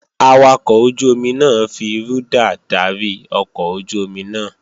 Awakọ̀ ojú-omi náà fi rúdà dárí ọkọ̀ ojú-omi náà